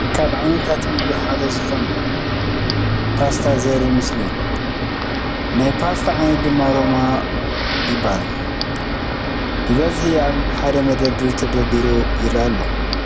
ካብ ዓይነታት ምግብ ሓደ ዝኾነ ፖስታ ዘርኢ ምስሊ እዩ፡፡ ናይቲ ፖስታ ዓይነት ድማ ሮማ ይበሃል፡፡ ብበዝሒ ኣብ ሓደ መደርደሪ ተደርዲሩ ይርአ ኣሎ